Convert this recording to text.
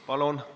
Palun!